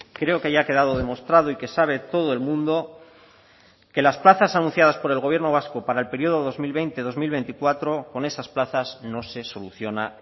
creo que ya ha quedado demostrado y que sabe todo el mundo que las plazas anunciadas por el gobierno vasco para el periodo dos mil veinte dos mil veinticuatro con esas plazas no se soluciona